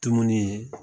Tununi ye